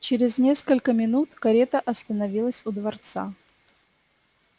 через несколько минут карета остановилась у дворца